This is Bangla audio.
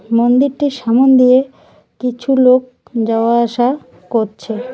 মন্দিরটির সামন দিয়ে কিছু লোক যাওয়া আসা করছে।